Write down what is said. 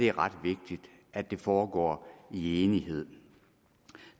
er ret vigtigt at det foregår i enighed